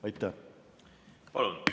Aitäh!